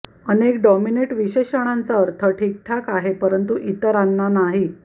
अनेक डिनॉमिनेट विशेषणांचा अर्थ ठीकठाक आहे परंतु इतरांना नाही